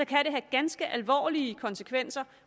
kan det have ganske alvorlige konsekvenser